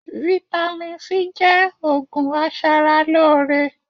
Vitamin C jẹ́ òògùn aṣaralóore